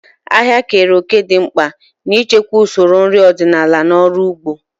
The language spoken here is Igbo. Ahịa keere òkè dị mkpa n'ichekwa usoro nri ọdịnala na ọrụ ugbo.